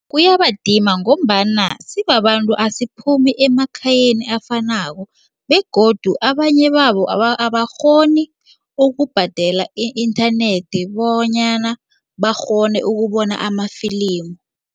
Kuyabadima ngombana sibabantu asiphumi emakhayeni afanako begodu abanye babo abakghoni ukubhadela i-inthanethi bonyana bakghone ukubona amafilimu.